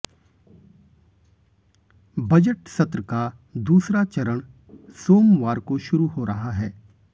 budget सत्र का दूसरा चरण सोमवार को शुरू हो रहा है